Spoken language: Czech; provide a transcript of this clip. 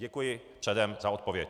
Děkuji předem za odpověď.